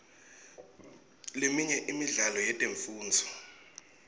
leminye imidlalo yetemfundvo